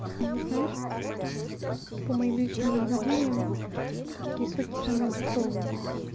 ну знаешь по моим личным наблюдениям такие соки самые дешёвые